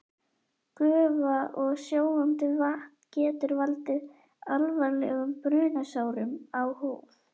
Gufa og sjóðandi vatn getur valdið alvarlegum brunasárum á húð.